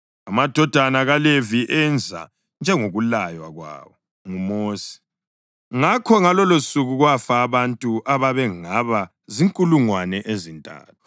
Amadodana kaLevi enza njengokulaywa kwawo nguMosi. Ngakho ngalolosuku kwafa abantu ababengaba zinkulungwane ezintathu.